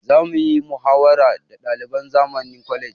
Za muyi muhawara da ɗaliban zamani college